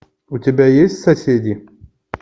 у тебя есть соседи